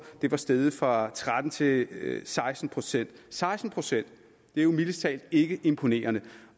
var steget fra tretten til seksten procent seksten procent er jo mildest talt ikke imponerende